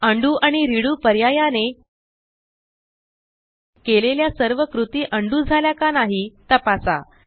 undo आणि redo पर्यायाने केलेल्या सर्व कृती उंडो झाल्या का नाही तपासा